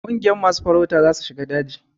Kungiyan masu farauta za su shiga daji.